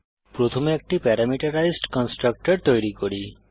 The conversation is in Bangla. প্রথমে একটি প্যারামিটারাইসড কন্সট্রাকটর তৈরী করি